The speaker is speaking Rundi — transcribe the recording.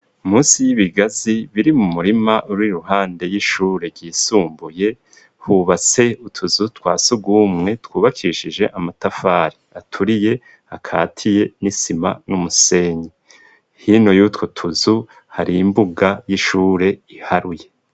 Munsi y'ibigazi biri mu murima uri iruhande y'ishure yisumbuye hubatse utuzu twa sugumwe twubakishije amatafari aturiye akatiye n'isima n'umusenyi hino yutwo tuzu hari imbuga y'ishure iharuye.